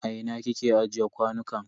A ina kike ajiye kwanukan?